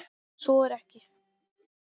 Svo er ekki.